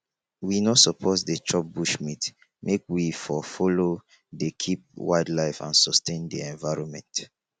we no suppose dey chop bushmeat make we for follow dey keep wildlife and sustain di environment